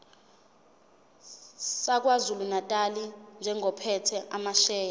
sakwazulunatali njengophethe amasheya